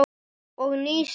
Og nýs vits.